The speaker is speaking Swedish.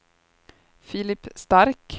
Filip Stark